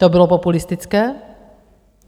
To bylo populistické?